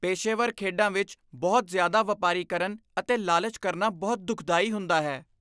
ਪੇਸ਼ੇਵਰ ਖੇਡਾਂ ਵਿੱਚ ਬਹੁਤ ਜ਼ਿਆਦਾ ਵਪਾਰੀਕਰਨ ਅਤੇ ਲਾਲਚ ਕਰਨਾ ਬਹੁਤ ਦੁਖਦਾਈ ਹੁੰਦਾ ਹੈ।